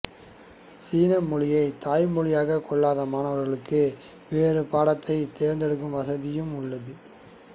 சீன மொழியை தாய்மொழியாக கொள்ளாத மாணவர்களுக்கு வேறு பாடத்தை தேர்ந்தெடுக்கும் வசதியும் உள்ளது